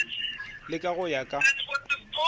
le ka go ya ka